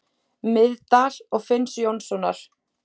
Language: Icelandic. Miðdal og Finns Jónssonar.